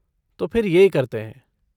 तो फिर यह करते हैं।